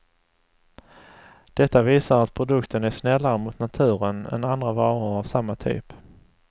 Detta visar att produkten är snällare mot naturen än andra varor av samma typ.